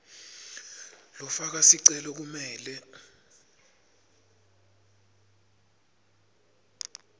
lofaka sicelo kumele